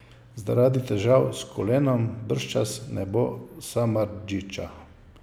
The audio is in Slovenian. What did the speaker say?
Zaradi težav s kolenom bržčas ne bo Samardžića.